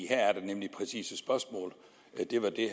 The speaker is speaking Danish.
her er der nemlig præcise spørgsmål og det var det